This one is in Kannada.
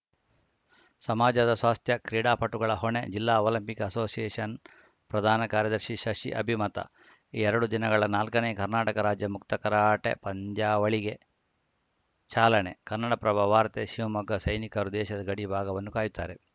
ಸಮಾಜದ ಸ್ವಾಸ್ಥ್ಯ ಕ್ರೀಡಾಪಟುಗಳ ಹೊಣೆ ಜಿಲ್ಲಾ ಒಲಂಪಿಕ್‌ ಅಸೋಶಿಯೇಷನ್‌ ಪ್ರಧಾನ ಕಾರ್ಯದರ್ಶಿ ಶಶಿ ಅಭಿಮತ ಎರಡು ದಿನಗಳ ನಾಲ್ಕನೇ ಕರ್ನಾಟಕ ರಾಜ್ಯ ಮುಕ್ತ ಕರಾಟೆ ಪಂದ್ಯಾವಳಿಗೆ ಚಾಲನೆ ಕನ್ನಡಪ್ರಭ ವಾರ್ತೆ ಶಿವಮೊಗ್ಗ ಸೈನಿಕರು ದೇಶದ ಗಡಿಭಾಗವನ್ನು ಕಾಯುತ್ತಾರೆ